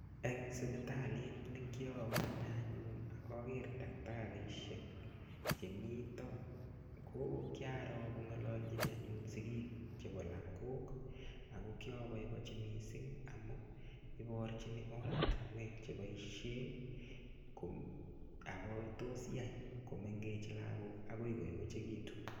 Eng sipitalit nekiowe anee anyun ak oker takitarishek chemito ko kiaro anyun ko ngololchin anyun sikiik chebo lokok ak ko kioboeboenchi mising amun iborchin oratinwek cheboishen ak kotos yaai lokok komengechen akoi koyechekitu.